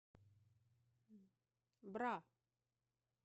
бра